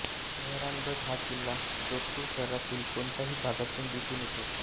मेहरानगढ हा किल्ला जोधपूर शहरातील कोणत्याही भागातून दिसून येतो